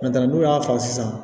n'u y'a faga sisan